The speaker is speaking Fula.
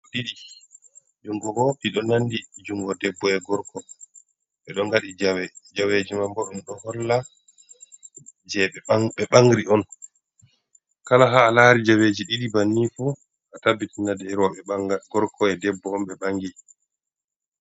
Jungo bo iɗo nanɗi jungo ɗebbo. e gorko be ɗo ngaɗi jawe. Jaweji man bo ɗun ɗo holla, je be bangri on. Kala ha a lari jaweji ɗiɗi banni fu,a tabbitina je robe bangal gorko e ɗebbo on be bangi.